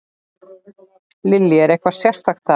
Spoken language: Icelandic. Lillý: Er eitthvað sérstakt þar?